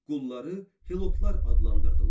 Qulları Helotlar adlandırdılar.